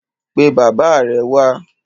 Pe bàbá rẹ wá.